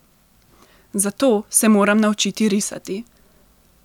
Zato se moram naučiti risati.